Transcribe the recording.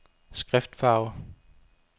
skriftfarve